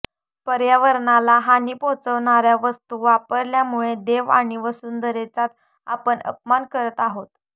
पर्यावरणाला हानी पोहोचवणाऱ्या वस्तू वापरल्यामुळे देव आणि वंसुधरेचाच आपण अपमान करत आहोत